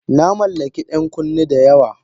Na mallaki 'yan kunne da yawa.